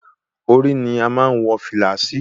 Orí ni a má ń wọ fìlà sí.